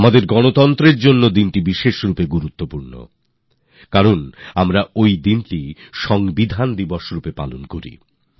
আমাদের গণতন্ত্রের জন্য বিশেষভাবে গুরুত্বপূর্ণ কারণ সেই দিনটি আমরা সংবিধান দিবস হিসবে পালন করি